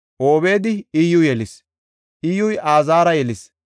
Obeedi Iyyu yelis; Iyyuy Azaara yelis;